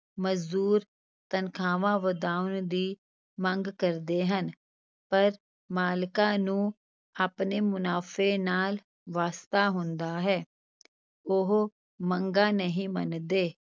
ਮਜ਼ਦੂਰ ਤਨਖਾਹਾਂ ਵਧਾਉਣ ਦੀ ਮੰਗ ਕਰਦੇ ਹਨ ਪਰ ਮਾਲਕਾਂ ਨੂੰ ਆਪਣੇ ਮੁਨਾਫ਼ੇ ਨਾਲ ਵਾਸਤਾ ਹੁੰਦਾ ਹੈ, ਉਹ ਮੰਗਾਂ ਨਹੀਂ ਮੰਨਦੇ।